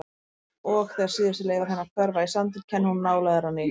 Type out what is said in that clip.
Og þegar síðustu leifar hennar hverfa í sandinn kennir hún nálægðar á ný.